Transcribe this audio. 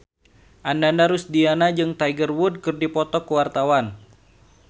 Ananda Rusdiana jeung Tiger Wood keur dipoto ku wartawan